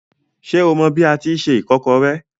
Ṣé o mọ bi a tíi se ìkọ́kọrẹ́?